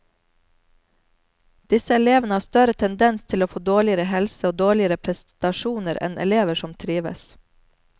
Disse elevene har større tendens til å få dårligere helse og dårligere prestasjoner enn elever som trives.